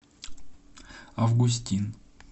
августин